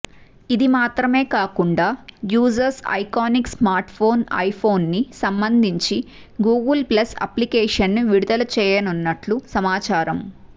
ఇది మాత్రమే కాకుండా యూజర్స్ ఐకానిక్ స్మార్ట్ పోన్ ఐపోన్కి సంబంధించి గూగుల్ ప్లస్ అప్లికేషన్ని విడుదల చేయనున్నట్లు సమాచారం